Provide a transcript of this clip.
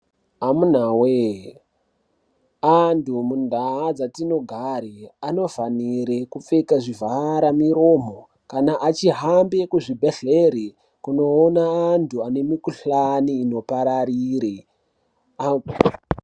Amunawe! antu mundau dzatinogare anofanire kupfeke zvivhara muromo kana achihambe kuzvibhehlera kunoona antu anemukhuhlani inopararire.